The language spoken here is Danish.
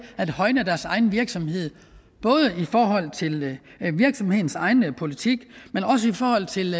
at højne deres egen virksomhed både i forhold til virksomhedens egen politik og i forhold til